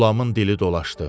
Qulamın dili dolaşdı.